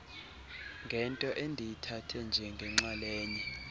ngento endiyithathe njengenxalenye